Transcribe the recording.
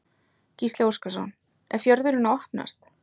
Gísli Óskarsson: Er fjörðurinn að opnast?